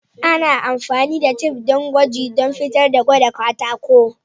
Ana amfani da tif din gwaji dan fitar da gwada katako.